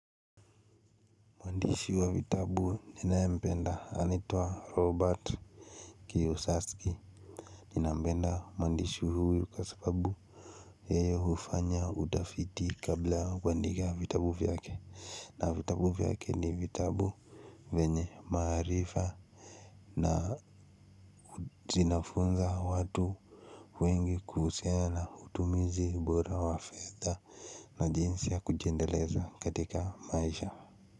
Mwandishi wa vitabu ninaye mpenda anaitwa Robert Kiyosasky. Ninampenda mwandishi huyu kwasababu yeye hufanya udafiti kabla kuandika vitabu vyake na vitabu vyake ni vitabu vyenye maarifa. Na zina funza watu wengi kuhusiana utumizi bora wafedha na jinsi ya kujiendeleza katika maisha.